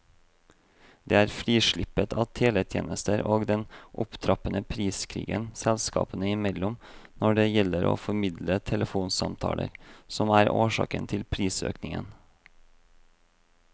Det er frislippet av teletjenester og den opptrappede priskrigen selskapene imellom når det gjelder å formidle telefonsamtaler, som er årsak til prisøkningen.